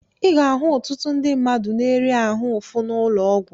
I ga-ahụ ọtụtụ ndị mmadụ na-eri ahụ ụfụ n'ụlọ ọgwụ.